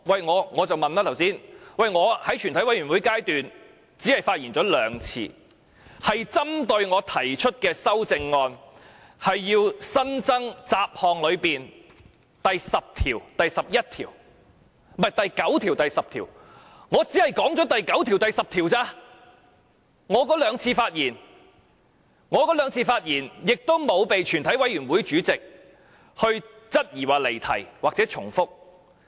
我剛才問的是，我在全委會審議階段只曾針對我提出的修正案發言2次，即雜項下的新增第9條和第10條，我在那2次發言只是討論過第9條和第10條，而我也沒有被全委會主席質疑離題或重複。